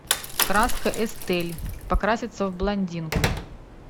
краска эстель покраситься в блондинку